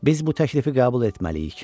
Biz bu təklifi qəbul etməliyik.